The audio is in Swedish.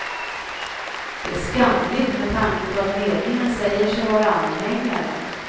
Det är skamligt med tanke på att ledningen säger sig vara anhängare.